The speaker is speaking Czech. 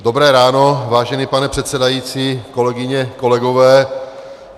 Dobré ráno, vážený pane předsedající, kolegyně, kolegové.